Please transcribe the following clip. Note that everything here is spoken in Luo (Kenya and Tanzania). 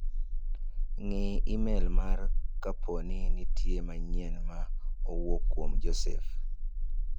Ng'i imel mara kaponi nitie manyien ma owuok kuom Joseph.